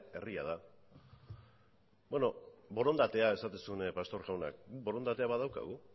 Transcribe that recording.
herria da borondatea esaten zuen pastor jaunak borondatea badaukagu